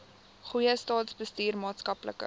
goeie staatsbestuur maatskaplike